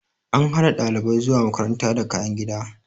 An hana dalibai zuwa makaranta da kayan gida.